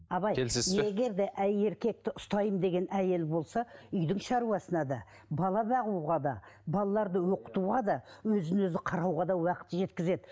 абай егер де әр еркекті ұстаймын деген әйел болса үйдің шаруасына да бала бағуға да балаларды оқытуға да өзін өзі қарауға да уақыт жеткізеді